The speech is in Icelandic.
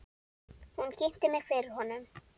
Hún kynnti mig fyrir honum.